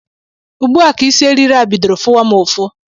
Ugbu a ka isi eriri a bidoro fụwa m ụfụ